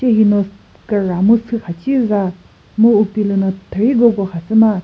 che hi no küra mu sü kha thiza mu upilüno thürigoko khasüma.